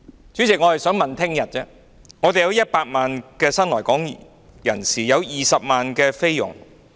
主席，我們現在有100萬名新來港人士和20萬名菲傭。